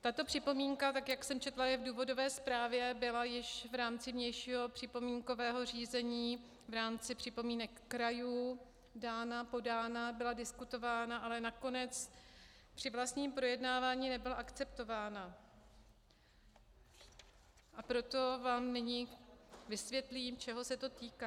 Tato připomínka, tak jak jsem četla, je v důvodové zprávě, byla již v rámci vnějšího připomínkového řízení, v rámci připomínek krajů dána, podána, byla diskutována, ale nakonec při vlastním projednávání nebyla akceptována, a proto vám nyní vysvětlím, čeho se to týká.